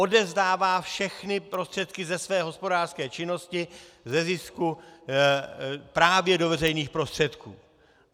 Odevzdává všechny prostředky ze své hospodářské činnosti, ze zisku právě do veřejných prostředků.